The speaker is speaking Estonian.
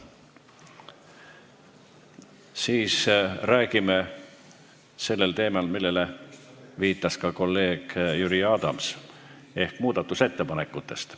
Siis räägime sellel teemal, millele viitas ka kolleeg Jüri Adams, ehk muudatusettepanekutest.